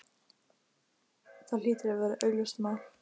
Það hlýtur að vera augljóst mál.